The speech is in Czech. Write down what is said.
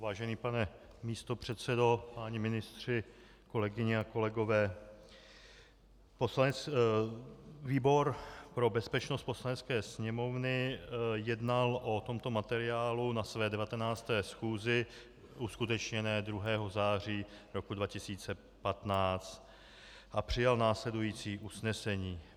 Vážený pane místopředsedo, páni ministři, kolegyně a kolegové, výbor pro bezpečnost Poslanecké sněmovny jednal o tomto materiálu na své 19. schůzi uskutečněné 2. září roku 2015 a přijal následující usnesení.